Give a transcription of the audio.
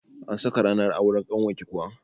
An saka ranar auren ƙanwarki kuwa?